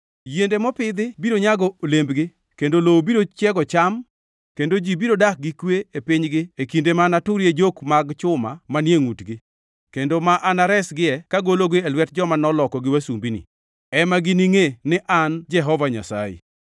Yiende mopidhi biro nyago olembgi kendo lowo biro chiego cham; kendo ji biro dak gi kwe e pinygi e kinde ma anaturie jok mag chuma manie ngʼutgi, kendo ma anaresgie kagolo e lwet joma nolokogi wasumbini, ema giningʼe ni an Jehova Nyasaye.